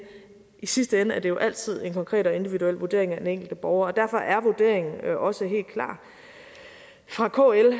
i sidste ende er det jo altid en konkret og individuel vurdering af den enkelte borger og derfor er vurderingen også helt klar fra kls